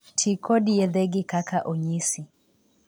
Tii kod yedhegi kaka onyisi.